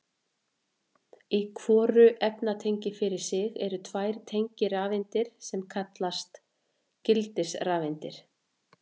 Í hvoru efnatengi fyrir sig eru tvær tengirafeindir sem einnig kallast gildisrafeindir.